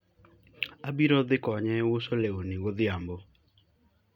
abiro di konye uso lewni godhiambo